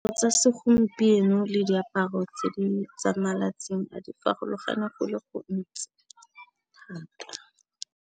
Tsa segompieno le diaparo tse di tsa malatsing a di farologana go le go ntsi thata.